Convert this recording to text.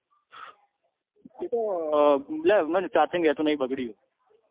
એતો લ્યા એમાં charging રેતુ નહી બગડ્યું હ.